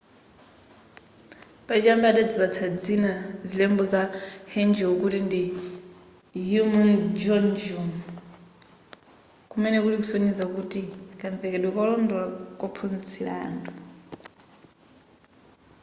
pachiyambi adazipatsa dzina zilembo za hangeul kuti ndi hunmin jeongeum kumene kuli kusonyeza kuti kamvekedwe kolondola kophunzitsira anthu